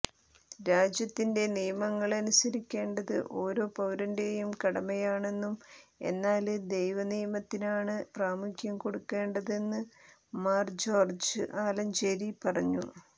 രാജ്യത്തിന്റെ നിയമങ്ങള് അനുസരിക്കേണ്ടത് ഓരോ പൌരന്റേയും കടമയാണെന്നും എന്നാല് ദൈവനിയമത്തിനാണ് പ്രാമുഖ്യം കൊടുക്കേണ്ടതെന്ന് മാര് ജോര്ജ് ആലഞ്ചേരി പറഞ്ഞു